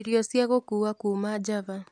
irio cia gũkua kuuma java